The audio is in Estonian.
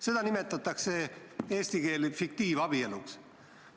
Seda nimetatakse eesti keeli fiktiivabieluks.